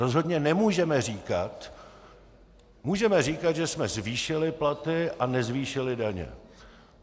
Rozhodně nemůžeme říkat - můžeme říkat, že jsme zvýšili platy a nezvýšili daně.